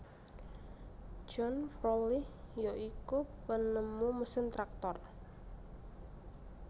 John Froelich ya ikun penemu mesin traktor